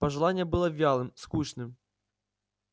пожелание было вялым скучным